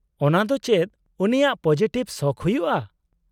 -ᱚᱱᱟ ᱫᱚ ᱪᱮᱫ ᱩᱱᱤᱭᱟᱜ ᱯᱚᱡᱮᱴᱷᱤᱵ ᱥᱚᱠᱷ ᱦᱩᱭᱩᱜᱼᱟ ?